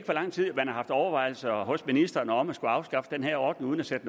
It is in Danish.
hvor lang tid man har haft overvejelser hos ministeren om at skulle afskaffe den her ordning uden at sætte